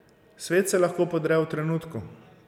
Svet se lahko podre v trenutku.